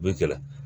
U bɛ kɛlɛ